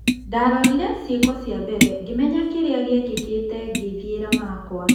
Ndarorire cĩĩko cia mbere ngĩmenya kĩrĩa gĩekĩkĩte ngĩthĩera makwa.